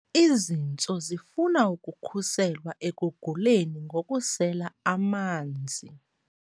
Izintso zifuna ukukhuselwa ekuguleni ngokusela amanzi.